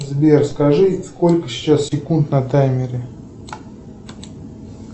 сбер скажи сколько сейчас секунд на таймере